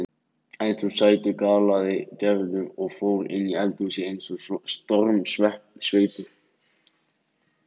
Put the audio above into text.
En þú sætur galaði Gerður og fór inni í eldhúsið eins og stormsveipur.